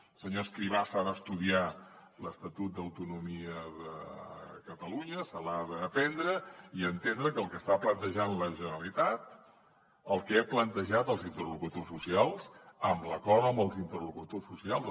el senyor escrivá s’ha d’estudiar l’estatut d’autonomia de catalunya se l’ha d’aprendre i entendre que el que està plantejant la generalitat el que ha plantejat als interlocutors socials amb l’acord amb els interlocutors socials